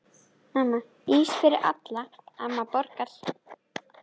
Ís fyrir alla, amma borgar